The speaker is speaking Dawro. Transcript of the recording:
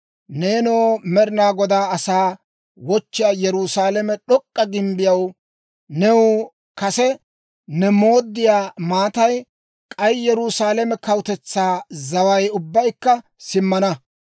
Neenoo, Med'ina Godaa asaa wochchiyaa Yerusaalame d'ok'k'a gimbbiyaw, new kase ne mooddiyaa maatay, k'ay Yerusaalame kawutetsaa zaway ubbaykka simmana.